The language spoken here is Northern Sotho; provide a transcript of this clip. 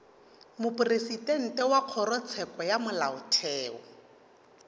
mopresidente wa kgorotsheko ya molaotheo